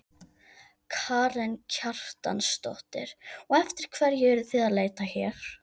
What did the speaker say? Karen Kjartansdóttir: Og eftir hverju eruð þið að leita hér?